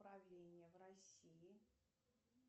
правление в россии